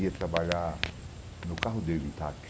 Ia trabalhar no carro dele, táxi.